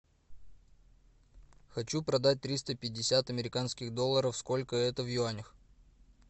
хочу продать триста пятьдесят американских долларов сколько это в юанях